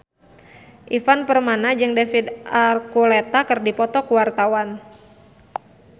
Ivan Permana jeung David Archuletta keur dipoto ku wartawan